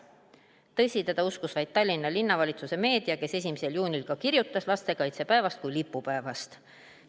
Tõsi, teda uskus vaid Tallinna Linnavalitsuse meedia, kes 1. juunil ka kirjutas lastekaitsepäevast kui lipupäevast.